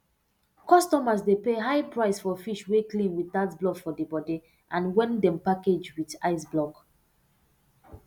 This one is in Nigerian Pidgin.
customers dey pay high price for fish wey clean without blood for di bodi and wen dem package with ice block